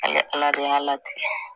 Ala ala de y'a ala deli